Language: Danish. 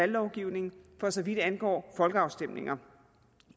lovgivningen for så vidt angår folkeafstemninger